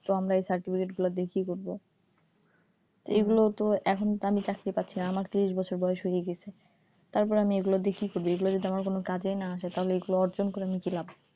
তো আমরা এই certificate দিয়ে আমরা কি করবো? এই গুলো তো এখন তো আমি চাকরি পাচ্ছি না আমার ত্রিশ বছর বয়স হয়ে গেছে তারপর আমি এই গুলা দিয়ে কি করি যদি আমার কোনো কাজেই না আসে এই গুলা অর্জন করে কি লাভ,